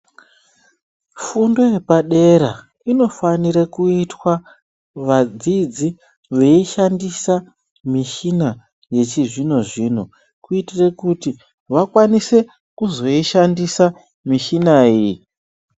Fundo yepadera inofanirwe kuitwa vadzidzi veishandise mishina yechizvino zvino kuitire kuti vakwanise kuzoi shandisa mishina iyi.